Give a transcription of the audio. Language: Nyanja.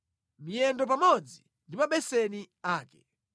miyendo pamodzi ndi mabeseni ake;